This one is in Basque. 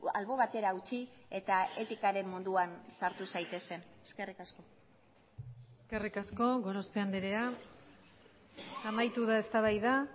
albo batera utzi eta etikaren munduan sartu zaitezen eskerrik asko eskerrik asko gorospe andrea amaitu da eztabaida